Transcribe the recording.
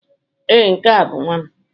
Ee, nke a bụ nwa m.